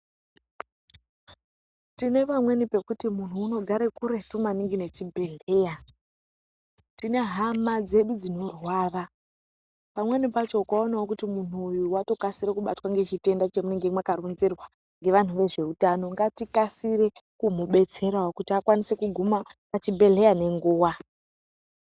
Kune vamweni pekuti muntu unogare kuretu nechibhedhleya. Tine hama dzedu dzinorwara pamweni pacho ukaonavo kuti muntu uyu vatokasire kubatwa ngechitenda chamunenge makaronzerwa ngevantu vezveutano. Ngatikasire kumubetseravo kuti akasire kuguma pachibhedhleya nenguva.